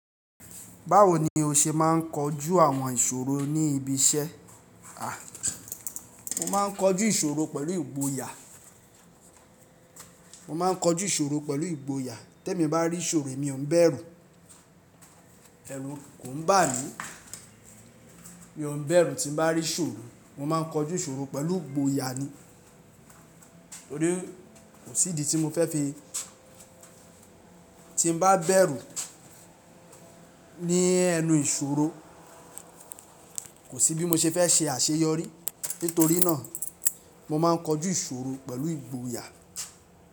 Báwo ni o ṣe máà ń kojú àwọn ìṣòro ní ibi iṣẹ́? Mo máa ń kojú ìṣòro pẹ̀lú ìgboyà. Mo máa ń kojú ìṣòro pẹ̀lú ìgboyà. Tẹ́ mi bá rí ìṣòro, emi ò ń bẹ̀rù. Ẹrù kò ń bà mí. Mi ò ń bẹ̀rù tí n bá rí iṣòro. Mo máa ń kojú ìṣòro pẹ̀lú ìgboyà ni. Nítorí kò sí idi tí mo fẹ́ fi tí n bá bẹ̀rù ní ẹnu ìṣòro, kò sí bí mo ṣe fẹ́ ṣe àṣeyọrí. Nítorí náà mo máa ń kojú ìṣòro pẹ̀lú ìgboyà.